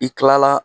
I kilala